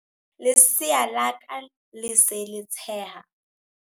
Lesea la ka le se le tsheha.